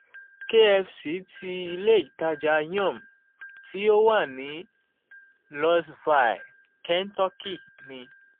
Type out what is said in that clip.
kfc tí ilé-ìtajà yum! tí ó wà ní louisville kentucky ní.